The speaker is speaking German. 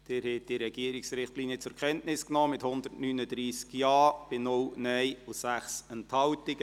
Sie haben die Regierungsrichtlinien zur Kenntnis genommen, mit 139 Ja- bei 0 NeinStimmen und 6 Enthaltungen.